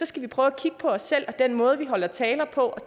skal prøve at kigge på os selv og den måde vi holder taler på